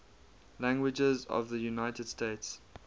languages of the united states